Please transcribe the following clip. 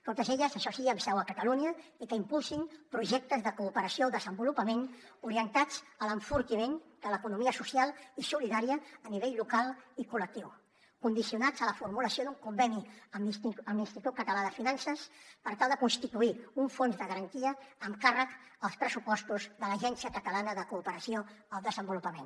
totes elles això sí amb seu a catalunya i que impulsin projectes de cooperació al desenvolupament orientats a l’enfortiment de l’economia social i solidària a nivell local i col·lectiu condicionats a la formulació d’un conveni amb l’institut català de finances per tal de constituir un fons de garantia amb càrrec als pressupostos de l’agència catalana de cooperació al desenvolupament